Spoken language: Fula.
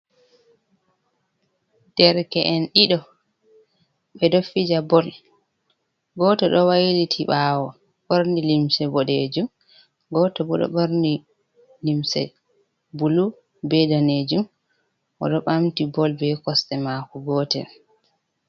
Derke’en ɗiɗo ɓe ɗo fija bol, gooto ɗo wailiti ɓawo ɓorni limse boɗejum, gooto bo ɗo ɓorni limse bulu be danejum oɗo ɓaamti bol be kosɗe maako gootel.